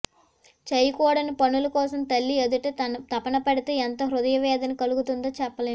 చేయకూడని పనుల కోసం తల్లి ఎదుటే తపనపడితే ఎంత హృదయవేదన కలుగుతుందో చెప్పలేం